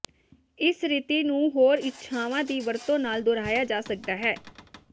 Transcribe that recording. ਇਸ ਰੀਤੀ ਨੂੰ ਹੋਰ ਇੱਛਾਵਾਂ ਦੀ ਵਰਤੋਂ ਨਾਲ ਦੁਹਰਾਇਆ ਜਾ ਸਕਦਾ ਹੈ